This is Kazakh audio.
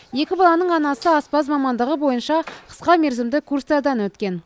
екі баланың анасы аспаз мамандығы бойынша қысқа мерзімді курстардан өткен